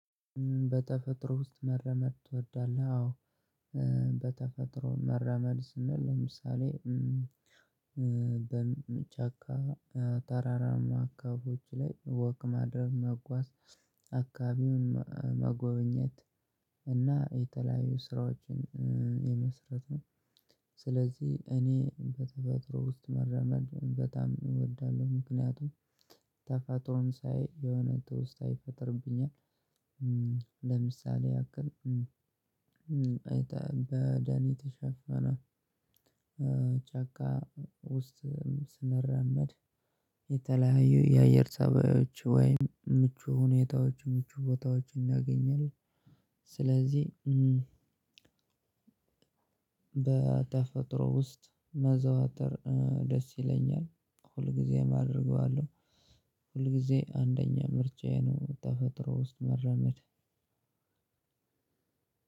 በተፈጥሮ ውስጥ መራመድ ትወዳለህ? አዎ። በተፈጥሮ መራመድ ስንል ለምሳሌ በጫካ ተራራማ አካባቢዎች ላይ ወክ ማድረግ መጓዝ አካባቢውን መጎብኘት እና የተለያዩ ስራዎችን የመስራት ነው። ስለዚህ እኔ በተፈጥሮ ውስጥ መራመድ በጣም እወዳለሁ። ምክንያቱም ተፈጥሮን ሳይ የሆነ ትውስታ ይፈጥርብኛል። ለምሳሌ ያክል በደን ተሸፈነ ጫካ ውስጥ ስንራመድ። የተለያዩ የአየር ፀባዬች ወይም ምቹ ሁኔታዎች ምቹ ቦታዎች እናገኛለን። ስለዚህ በተፈጥሮ ውስጥ ማዘውተር ደስ ይለኛል ሁልጊዜም አደርገዋለው። ሁል ጊዜ አንደኛ ምርጫዬ ነው ተፈጥሮ ውስጥ መራመድ።